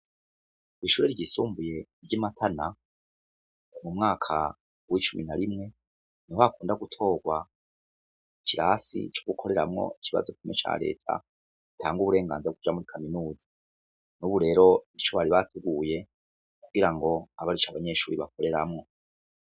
Ishure ryisumbuye ryimatana umwaka wicumi na rimwe numwaka ukunda gutorwa ikirasi co gukoreramwo ikibazo ca reta gitanda gitanda uburengazira bwo kuja muri kaminuza nkubu rero ico bari bapfuye kugirango abe arico abanyeshure bakoreramwo